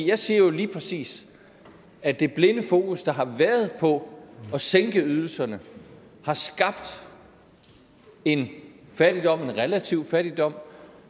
jeg siger jo lige præcis at det blinde fokus der har været på at sænke ydelserne har skabt en fattigdom en relativ fattigdom